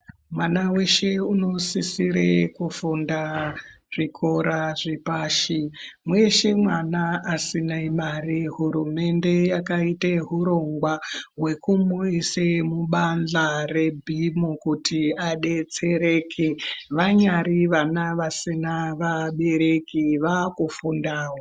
Mwana weshe unosisira kufunda zvikora zvepashi weshe mwana asina mare hurumende yakaita hurongwa hwekumuise mubadhla renhimu kuti vadetsereke vanyari vana vasina vabereki vava kufundawo.